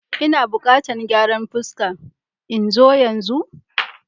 Ina buƙatan gyaran fuska. In zo yanzu?